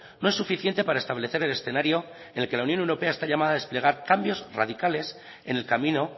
no es suficiente para establecer el escenario en la que la unión europea está llamada a desplegar cambios radicales en el camino